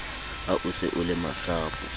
ha o se o lemasapo